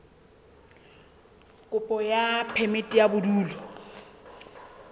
kopo ya phemiti ya bodulo